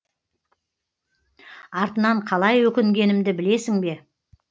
артынан қалай өкінгенімді білесің бе